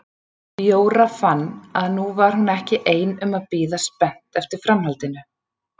Jóra fann að nú var hún ekki ein um að bíða spennt eftir framhaldinu.